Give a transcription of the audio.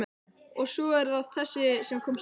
Og svo er það þessi sem kom seinna.